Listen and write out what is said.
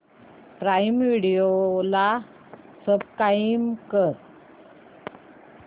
prime Video ला subscribe कर